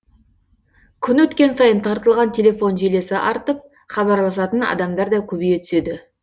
күн өткен сайын тартылған телефон желісі артып хабарласатын адамдар да көбейе түседі